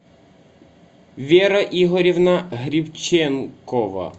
вера игоревна грибченкова